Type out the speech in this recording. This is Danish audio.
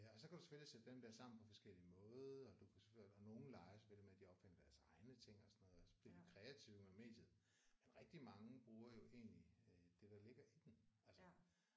Og så kan du selvfølgelig sætte dem der sammen på forskellige måder og du kan og nogle leger selvfølgelig med at de opfinder deres egne ting og sådan noget og så bliver de kreative med mediet. Men rigtig mange bruger jo egentlig øh det der ligger i den altså